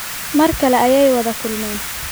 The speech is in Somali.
Mar kale ayay wada kulmeen